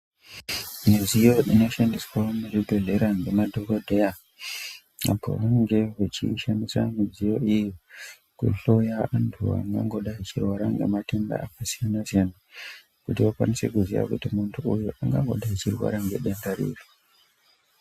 Midziyo inoshandiswa muzvibhehleya ngemadhokodheya apo vanenge vechiishandisa midziyo iyi kuhloya antu angangodai achirwara ngematenda akasiyana siyana kuti vakwanise kuziya kuti muntu uyu angangodai achirwara ngedenda ripi.